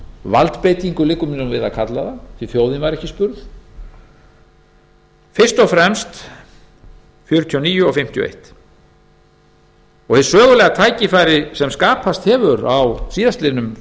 valdbeitingu liggur mér við að kalla það því að þjóðin var ekki spurð fyrst og fremst nítján hundruð fjörutíu og níu og nítján hundruð fimmtíu og eitt hið sögulega tækifæri sem skapast hefur á síðastliðnum